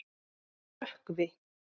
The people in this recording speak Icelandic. Rökkvi